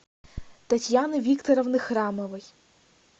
татьяны викторовны храмовой